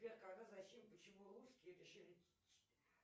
сбер когда зачем почему русские решили